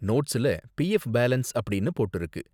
நோட்ஸ்ல PF balance அப்படின்னு போட்டிருக்கு.